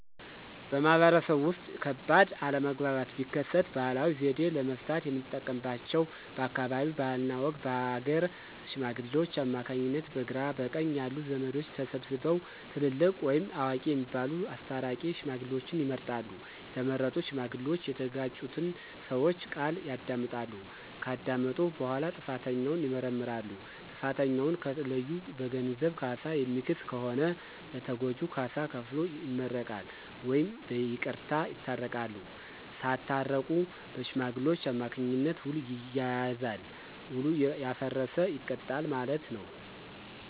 በማህበረሰቡ ውስጥ ከባድ አለመግባባት ቢከሰት ባህላዊ ዘዴ ለመፍታት የምንጠቀምባቸው በአካባቢው ባህልና ወግ በሀገረ ሽማግሌዎች አማካኝነት በግራ በቀኝ ያሉ ዘመዶች ተሰብስበው ትልልቅ ወይም አዋቂ የሚባሉት አስታራቂ ሽማግሌዎችን ይመርጣሉ። የተመረጡ ሽማግሌዎች እየተጋጩትን ሰወች ቃል ያዳምጣሉ። ከዳመጡ በኋላ ጥፋተኛውን ይመረምራሉ። ጥፋተኛውን ከለዩ በገንዘብ ካሳ የሚክስ ከሆነ ለተጎጁ ካሳ ከፍሎ ይመረቃል ወይም በይቅርታ ይታረቃሉ። ሳታረቁ በሽማግሌዎች አማካኝነት ዉል ይያያዛል። ዉሉ ያፈረሰ ይቀጣል ማለት ነው።